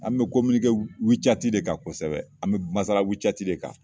An bi de kan kosɛbɛ an bɛ masala de kan.